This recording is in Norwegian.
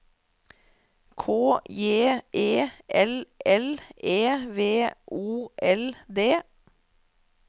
K J E L L E V O L D